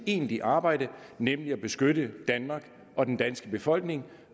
egentlige arbejde nemlig at beskytte danmark og den danske befolkning